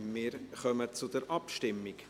Wir kommen zur Abstimmung.